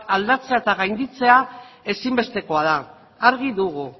aldatzea eta gainditzea ezinbestekoa da argi dugu